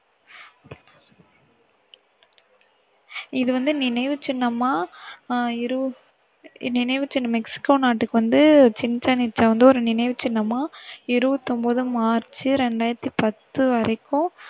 இது வந்து நினைவு சின்னமா, இரு~ நினைவு சின்னமா மெக்சிகோ நாட்டுக்கு வந்து சிச்சென் இட்சா வந்து ஒரு நினைவு சின்னமா இருபத்தொன்பது மார்ச் ரெண்டாயிரத்தி பத்து வரைக்கும்